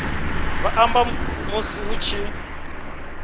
vha amba musi hu tshi